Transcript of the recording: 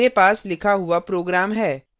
मेरे पास लिखा हुआ program है